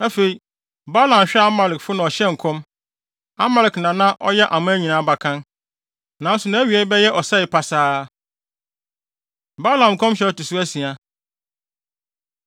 Afei, Balaam hwɛɛ Amalekfo na ɔhyɛɛ nkɔm: “Amalek na na ɔyɛ aman nyinaa abakan, nanso nʼawiei bɛyɛ ɔsɛe pasaa.” Balaam Nkɔmhyɛ A Ɛto So Asia